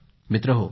मित्रहो